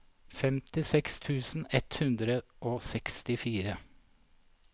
femtiseks tusen ett hundre og sekstifire